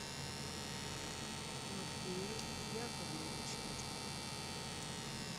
матвею яковлевичу